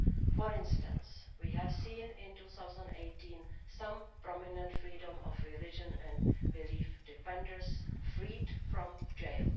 For instance, we have seen in 2018 some prominent freedom of religion and belief defenders freed from jail.